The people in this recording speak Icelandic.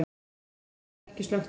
Sinueldar ekki slökktir